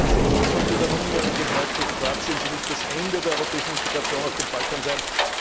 Tatsächlich sollte der nunmehrige Beitritt Kroatiens ja nicht das Ende der europäischen Integration auf dem Balkan sein.